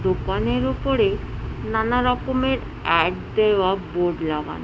দোকানের ওপরে নানা রকমের অ্যাড দেওয়া বোর্ড লাগানো।